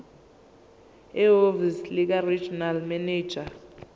ehhovisi likaregional manager